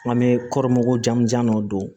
An bɛ kɔri mugu jan dɔ don